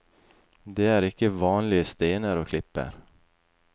Det er ikke vanlige stener og klipper.